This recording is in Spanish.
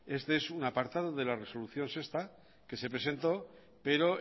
este es un apartado de la resolución sexta que se presentó pero